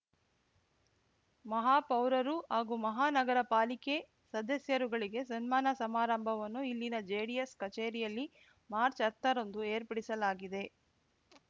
ಮಹಾಪೌರರು ಹಾಗೂ ಮಹಾನಗರ ಪಾಲಿಕೆ ಸದಸ್ಯರುಗಳಿಗೆ ಸನ್ಮಾನ ಸಮಾರಂಭವನ್ನು ಇಲ್ಲಿನ ಜೆಡಿಎಸ್ ಕಚೇರಿಯಲ್ಲಿ ಮಾರ್ಚ್ ಹತ್ತ ರಂದು ಏರ್ಪಡಿಸಲಾಗಿದೆ